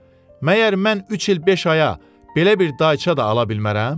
Məgər mən üç il beş aya belə bir dayça da ala bilmərəm?